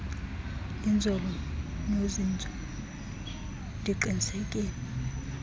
inzolo nozinzo ndiqinisekise